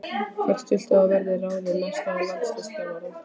Hver viltu að verði ráðinn næsti landsliðsþjálfari?